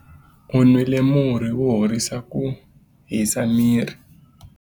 U nwile murhi wo horisa ku hisa miri.